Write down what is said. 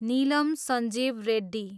Neelam Sanjiva Reddy